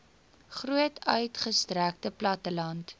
groot uitgestrekte platteland